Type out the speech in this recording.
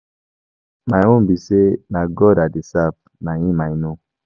My own be say na God I dey serve, na him I know.